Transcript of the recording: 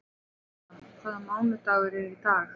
Adam, hvaða mánaðardagur er í dag?